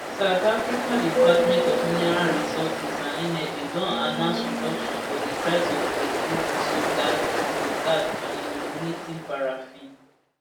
south africa department of mineral resources and energy don announce reduction for di price of petrol diesel gas diesel gas and illuminating paraffin